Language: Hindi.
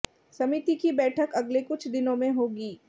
समिति की बैठक अगले कुछ दिनों में होगी